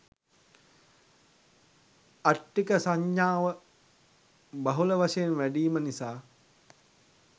අට්ඨික සඤ්ඤාව බහුල වශයෙන් වැඞීම නිසා